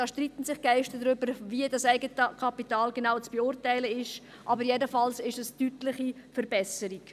Da streiten sich die Geister darüber, wie das eigene Kapital genau zu beurteilen ist, aber jedenfalls ist es eine deutliche Verbesserung.